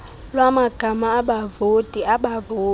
lwamagama abavoti abavoti